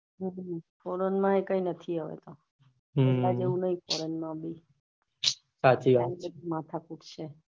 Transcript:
foreign માં કઈ નહી હવે તો પેલા જોવું foreign નહી હવે તો બધી માથા કૂટ છે